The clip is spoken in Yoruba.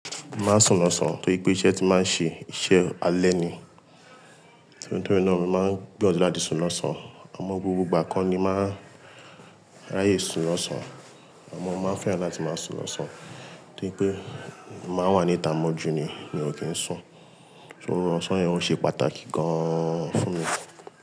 Màá sùn lọ́sàn-án torí pé iṣẹ́ tí màá ń ṣe iṣẹ́ alẹ́ ni. Torí náà mo máa n gbìyànjú láti sùn lọ́sàn-án. Amọ gbogbo ìgbà kọ ní ma n ráyè sùn lọ́sàn-án, àmọ́ mo ma n fẹ́ràn láti máa sùn lọ́sàn-án torí pé mo máa n wá níta mójú ni, mi ò kì n sùn. Oorun ọ̀sán yẹn ó ṣe pàtàkì gan-an fún mi.